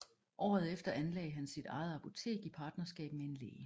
Året efter anlagde han sit eget apotek i partnerskab med en læge